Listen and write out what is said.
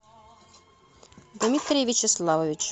дмитрий вячеславович